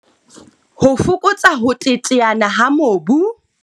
Ho fokotsa ho teteana ha mobu.